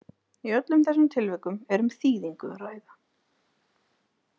Í öllum þessum tilvikum er um þýðingu að ræða.